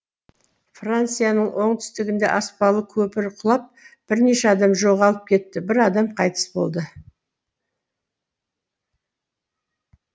францияның оңтүстігінде аспалы көпір құлап бірнеше адам жоғалып кетті бір адам қайтыс болды